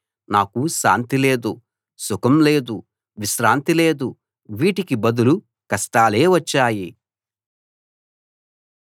నాకు శాంతి లేదు సుఖం లేదు విశ్రాంతి లేదు వీటికి బదులు కష్టాలే వచ్చాయి